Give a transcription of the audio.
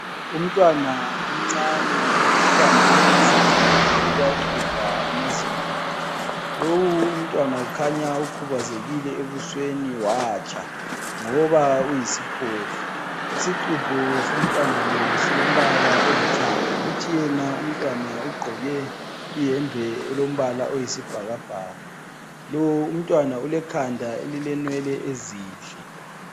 Umntwana omncane ubambe isixubho uyaxubha amazinyo akhe lowu umntwana kukhanya ukhubazekile ebusweni watsha ngoba uyisiphofu, isixubho so mntwana lo silombala olithanga kuthi yena umntwana ugqoke iyembe elombala oyisibhakabhaka, lo umntwana ulekhanda elilenwele ezinhle.